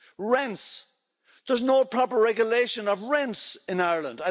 Rents there's no proper regulation of rents in Ireland.